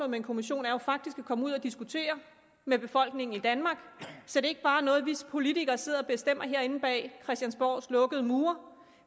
med en kommission er jo faktisk at komme ud og diskutere med befolkningen i danmark så det ikke bare er noget vi politikere sidder og bestemmer herinde bag christiansborgs lukkede mure